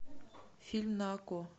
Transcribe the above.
фильм на окко